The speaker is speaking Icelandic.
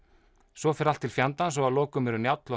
svo fer allt til fjandans og að lokum eru Njáll og